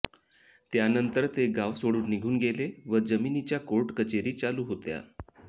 त्यांनतर ते गाव सोडून निघून गेले व जमिनीच्या कोर्ट कचेरी चालू होत्या